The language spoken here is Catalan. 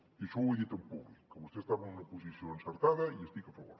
i això ho he dit en públic que vostè estava en una posició encertada i hi estic a favor